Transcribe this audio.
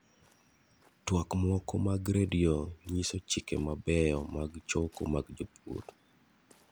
Twak moko mag redio nyiso chiche mabeyo mag chokoo mag jopur.